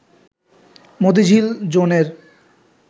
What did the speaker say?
মতিঝিল জোনের